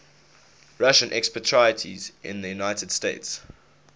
russian expatriates in the united states